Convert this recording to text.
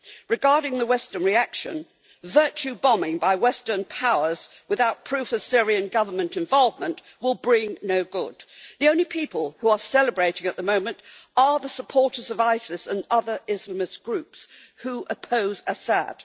Regarding the Western reaction, virtue bombing by Western powers without proof of Syrian Government involvement will bring no good. The only people who are celebrating at the moment are the supporters of ISIS and other Islamist groups, who oppose Assad.